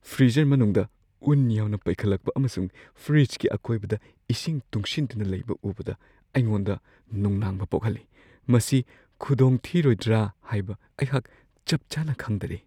Freezer ꯃꯅꯨꯡꯗ ꯎꯟ ꯌꯥꯝꯅ ꯄꯩꯈꯠꯂꯛꯄ ꯑꯃꯁꯨꯡ ꯐ꯭ꯔꯤꯖꯀꯤ ꯑꯀꯣꯏꯕꯗ ꯏꯁꯤꯡ ꯇꯨꯡꯁꯤꯟꯗꯨꯅ ꯂꯩꯕ ꯎꯕꯗ ꯑꯩꯉꯣꯟꯗ ꯅꯨꯡꯅꯥꯡꯕ ꯄꯣꯛꯍꯜꯂꯤ; ꯃꯁꯤ ꯈꯨꯗꯣꯡꯊꯤꯔꯣꯏꯗ꯭ꯔꯥ ꯍꯥꯏꯕ ꯑꯩꯍꯥꯛ ꯆꯞ ꯆꯥꯅ ꯈꯪꯗꯔꯦ ꯫